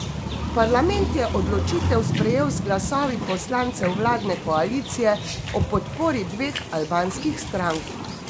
Parlament je odločitev sprejel z glasovi poslancev vladne koalicije ob podpori dveh albanskih strank.